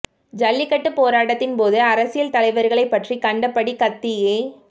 ஜல்லிக்கட்டு போராட்டத்தின் போது அரசியல் தலைவர்களை பற்றி கண்ட படி கத்தியே